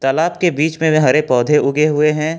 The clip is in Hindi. तालाब के बीच में भी हरे पौधे उगे हुए हैं।